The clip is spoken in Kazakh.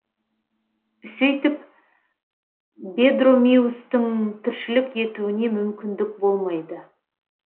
сөйтіп бедромиустің тіршілік етуіне мүмкіндік болмайды